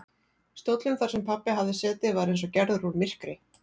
Stóllinn þar sem pabbi hafði setið var eins og gerður úr myrkri.